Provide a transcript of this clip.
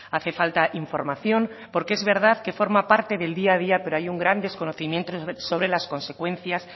hace falta información porque es verdad que forma parte del día a día pero hay un gran desconocimiento sobre las consecuencias